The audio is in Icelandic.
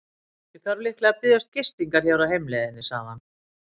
Ég þarf líklega að biðjast gistingar hér á heimleiðinni, sagði hann.